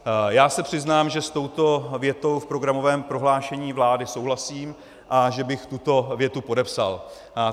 - Já se přiznám, že s touto větou v programovém prohlášení vlády souhlasím a že bych tuto větu podepsal.